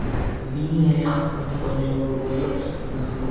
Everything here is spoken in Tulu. ತ್ತ್ಂಡ್ ವೀಣೆ ಒಂಜಿ ಪೊಂಜೊವು ಬುಡೊಂದು ಹಾ--